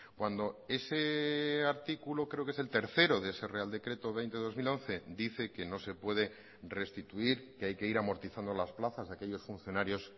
cuando ese artículo creo que es el tercero de ese real decreto veinte barra dos mil once dice que no se puede restituir que hay que ir amortizando las plazas de aquellos funcionarios